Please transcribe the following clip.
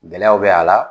Gɛlɛyaw bɛ a la